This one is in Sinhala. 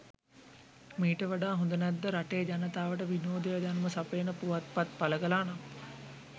මීට වඩා හොඳ නැද්ද රටේ ජනතාවට විනෝදය දැනුම සපයන පුවත්පත් පළ කළා නම්?